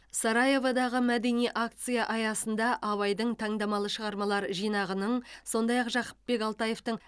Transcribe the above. сараеводағы мәдени акция аясында абайдың таңдамалы шығармалар жинағының сондай ақ жақыпбек алтаевтың